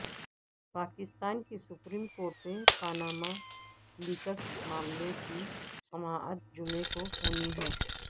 پاکستان کی supreme court میں Panama leaks معاملے کی سماعت جمعے کو ہونی ہے